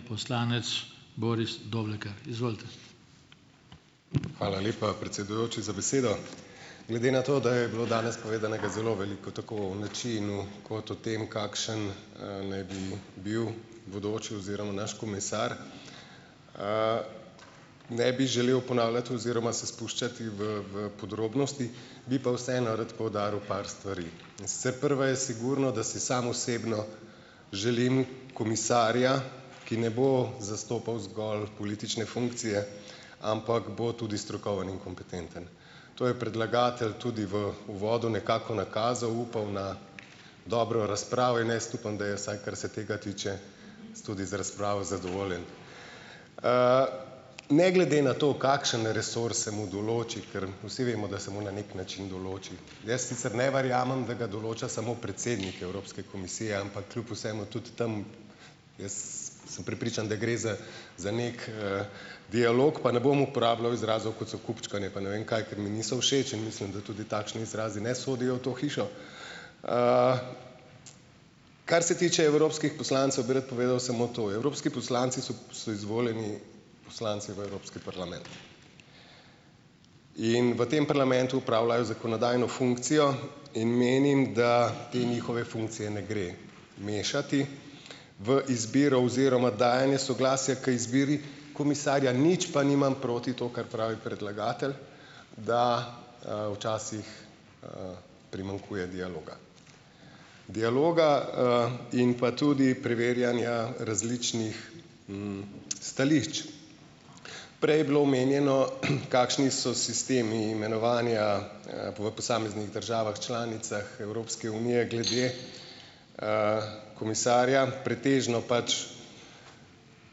Poslanec Boris Doblekar, izvolite. Hvala lepa, predsedujoči za besedo. Glede na to, da je bilo danes povedanega zelo veliko tako o načinu kot o tem, kakšen, naj bi bil bodoči oziroma naš komisar, ne bi želel ponavljati oziroma se spuščati v v podrobnosti, bi pa vseeno rad poudaril par stvari, in sicer prva je sigurno, da si sam osebno želim komisarja, ki ne bo zastopal zgolj politične funkcije, ampak bo tudi strokoven in kompetenten, to je predlagatelj tudi v uvodu nekako nakazal, upal na dobro razpravo in jaz upam, da je, vsaj kar se tega tiče, s tudi z razpravo zadovoljen, ne glede na to, kakšen resurs se mu določi, kar vsi vemo, da se mu na neki način določi, jaz sicer ne verjamem, da ga določa samo predsednik Evropske komisije, ampak kljub vsemu tudi tam, jaz sem prepričan, da gre za za neki, dialog, pa ne bom uporabljal izrazov, kot so kupčkanje pa ne vem kaj, ker mi niso všeč, in mislim, da tudi takšni izrazi ne sodijo v to hišo, kar se tiče evropskih poslancev, bi rad povedal samo to: evropski poslanci so so izvoljeni poslanci v Evropski parlament in v tem parlamentu opravljajo zakonodajno funkcijo in menim, da te njihove funkcije ne gre mešati v izbiro oziroma dajanje soglasja k izbiri komisarja, nič pa nimam proti to, kar pravi predlagatelj, da, včasih, primanjkuje dialoga dialoga, in pa tudi preverjanja različnih, stališč, prej je bilo omenjeno, kakšni so sistemi imenovanja, v posameznih državah članicah Evropske unije glede, komisarja, pretežno pač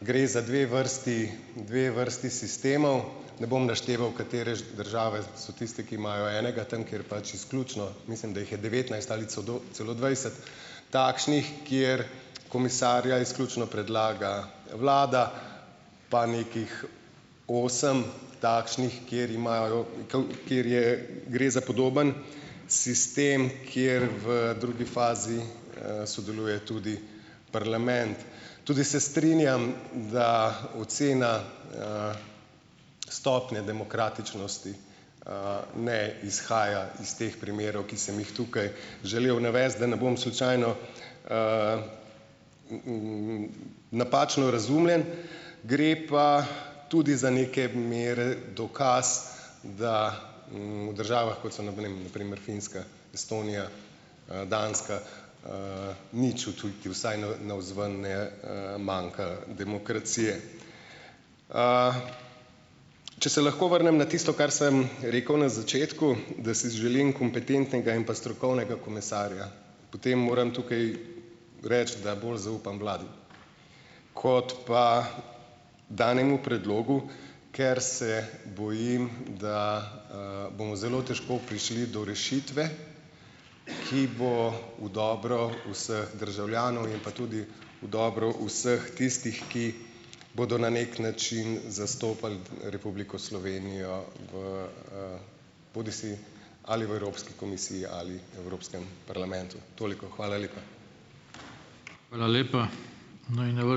gre za dve vrsti, dve vrsti sistemov, ne bom našteval, katere države so tiste, ki imajo enega, tam, kjer pač izključno, mislim, da jih je devetnajst ali celo dvajset takšnih, kjer komisarja izključno predlaga vlada, pa nekih osem takšnih, kjer imajo kjer je gre za podoben sistem, kjer v drugi fazi, sodeluje tudi parlament, tudi se strinjam, da ocena, stopnje demokratičnosti, ne izhaja iz teh primerov, ki sem jih tukaj želel navesti, da ne bom slučajno, v uu napačno razumljen, gre pa, gre pa tudi za neke mere dokaz, da v državah, kot so na primer na primer Finska Estonija, Danska, nič odtujiti vsaj na navzven, ne, manjka demokracije, če se lahko vrnem na tisto, kar sem rekel na začetku, da si želim kompetentnega in pa strokovnega komisarja, potem moram tukaj reči, da bolj zaupam vladi kot pa danemu predlogu, ker se bojim, da, bomo zelo težko prišli do rešitve, ki bo v dobro vseh državljanov in pa tudi v dobro vseh tistih, ki bodo na neki način zastopali Republiko Slovenijo v, bodisi ali v Evropski komisiji ali Evropskem parlamentu. Toliko, hvala lepa. Hvala lepa, naj na ...